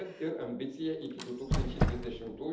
Kad ir ambicija iki 2030